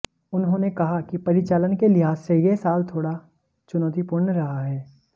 उन्होंने कहा कि परिचालन के लिहाज से यह साल थोड़ा चुनौतीपूर्ण रहा है